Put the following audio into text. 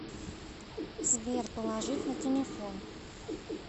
сбер положить на телефон